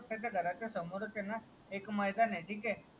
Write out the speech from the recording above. तर त्याचा हे बघ त्याचा घराचा समोर ए ना एक मैदान ए ठीके